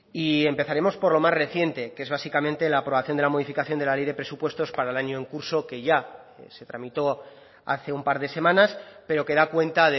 y empezaremos por lo más reciente que es básicamente la aprobación de la modificación de la ley de presupuestos para el año en curso que ya se tramitó hace un par de semanas pero que da cuenta